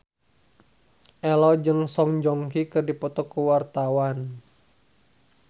Ello jeung Song Joong Ki keur dipoto ku wartawan